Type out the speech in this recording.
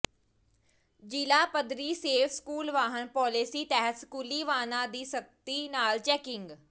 ਜਿਲ੍ਹਾ ਪੱਧਰੀ safe school ਵਾਹਨ ਪਾਲਿਸੀ ਤਹਿਤ ਸਕੂਲੀ ਵਾਹਨਾਂ ਦੀ ਸਖਤੀ ਨਾਲ ਚੈਕਿੰਗ